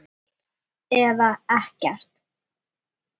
Allt eða ekkert.